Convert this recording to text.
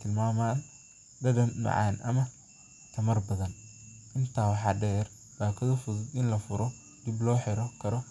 tilmaayaya, inta waxaa deer kuwa lafuran karo.